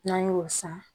N'an y'o san